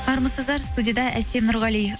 армысыздар студияда әсем нұрғали